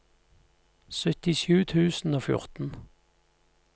syttisju tusen og fjorten